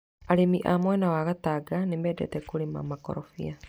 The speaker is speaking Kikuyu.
Arĩmi a mwena wa Gatanga nĩ mendete kũrĩma makorobia.